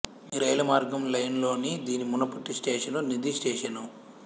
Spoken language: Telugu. ఈ రైలు మార్గము లైన్ లోని దీని మునుపటి స్టేషను నిది స్టేషను